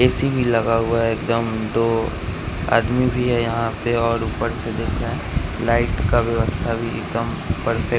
AC भी लगा हुआ है एक दम दो आदमी भी है यहां पर और ऊपर से देखा है लाइट का व्यवस्था भी परफेक्ट --